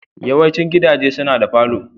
Yawaicin gidaje suna da falo.